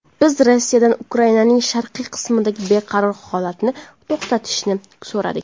Biz Rossiyadan Ukrainaning sharqiy qismidagi beqaror holatni to‘xtatishni so‘radik.